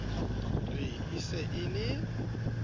re e se e le